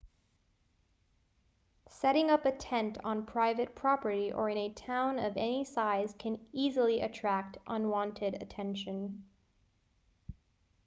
setting up a tent on private property or in a town of any size can easily attract unwanted attention